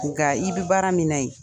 Nka i bi baara min na yen